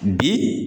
Bi